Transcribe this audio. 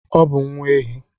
Ọ bụ nwa ehi.